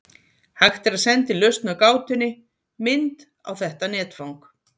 Hægt er að senda inn lausn á gátunni, mynd, á þetta netfang.